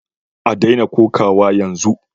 A daina kokawa yanzu